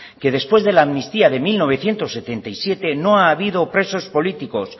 que después de la amnistía de mil novecientos setenta y siete no ha habido presos políticos